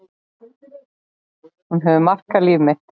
Hún hefur markað líf mitt.